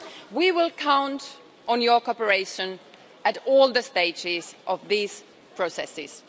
We will count on your cooperation at all the stages of these processes.